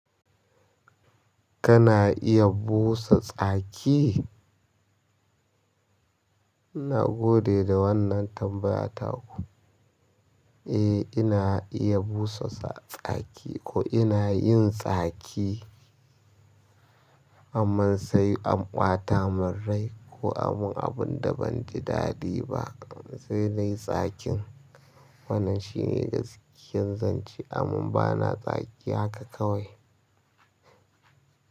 Kana iya busa tsaki? Gode da wannan tambaya taku. Eh, ina iya busa tsaki, ko ina yin tsaki, amman sai an ɓataman rai ko anman abunda banji daɗi ba, sai nai tsakin. Wannan shine gaskiyan zance, amma bana tsaki haka kawai.